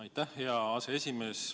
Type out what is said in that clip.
Aitäh, hea aseesimees!